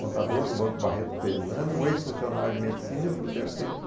Contador do Banco Barreto que fez exame, um ex-funcionário de medicina e eu fui o terceiro.